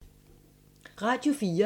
Radio 4